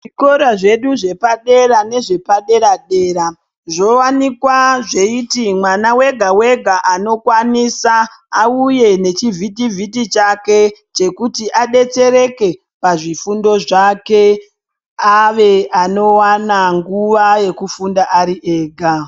Zvikora zvedu zvepadera nezvepadera radera zvowanikwa zveiti mwana wega wega anokwanisa auye nechivhitivhiti chake chekuti adetsereke pazvifundo zvake ave anowana nguwa yekufunda ari ega .